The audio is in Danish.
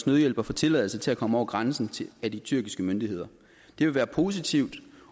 nødhjælp at få tilladelse til at komme over grænsen af de tyrkiske myndigheder det vil være positivt